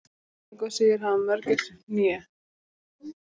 engu að síður hafa mörgæsir hné